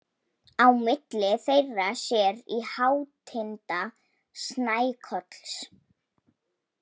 Á milli þeirra sér í hátinda Snækolls.